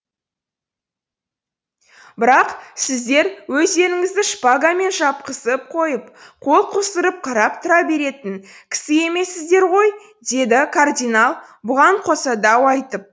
бірақ сіздер өздеріңізді шпагамен шапқызып қойып қол қусырып қарап тұра беретін кісі емессіздер ғой деді кардинал бұған қоса дау айтып